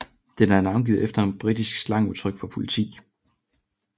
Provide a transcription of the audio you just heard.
Den er navngivet efter et britisk slangudtryk for politi